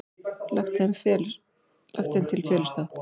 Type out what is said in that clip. Lagt þeim til felustað.